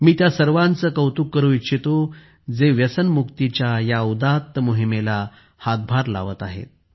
मी त्या सर्वांचे कौतुक करू इच्छितो जे व्यसनमुक्तीच्या या उदात्त मोहिमेला हातभार लावत आहेत